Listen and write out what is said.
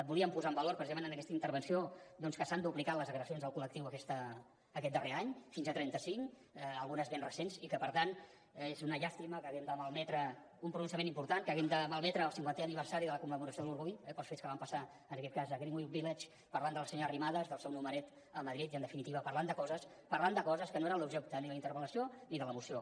volíem posar en valor precisament en aquesta intervenció doncs que s’han duplicat les agressions al col·lectiu aquest darrer any fins a trenta cinc algunes ben recents i que per tant és una llàstima que haguem de malmetre un pronunciament important que haguem de malmetre el cinquantè aniversari de la commemoració de l’orgull pels fets que van passar en aquest cas a greenwich village parlant de la senyora arrimadas del seu numeret a madrid i en definitiva parlant de coses que no eren l’objecte ni de la interpel·lació ni de la moció